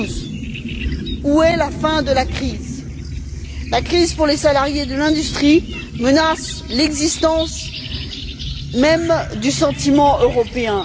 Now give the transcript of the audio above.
2012. Où est la fin de la crise? La crise pour les salariés de l'industrie menace l'existence même du sentiment européen.